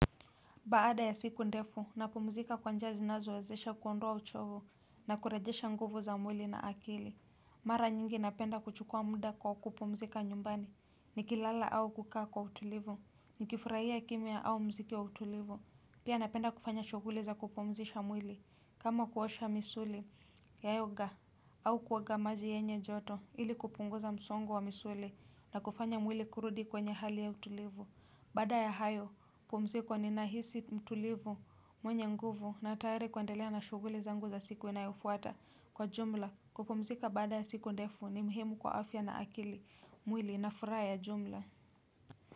Baada ya siku ndefu, napomzika kwa njia zinazowazesha kuondoa uchovu na kurejesha nguvu za mwili na akili. Mara nyingi napenda kuchukua muda kwa kupomzika nyumbani, ni kilala au kukaa kwa utulivu, ni kifurahia kimya au mziki wa utulivu. Pia napenda kufanya shughuli za kupomzisha mwili, kama kuosha misuli ya yoga au kuoga maji yenye joto ili kupunguza msongo wa misuli na kufanya mwili kurudi kwenye hali ya utulivu. Baada ya hayo, pumziko ninahisi mtulivu mwenye nguvu na tare kuandelea na shughuli zangu za siku inayofuata kwa jumla. Kupumzika baada ya siku ndefu ni mhemu kwa afya na akili mwili na fura ya jumla.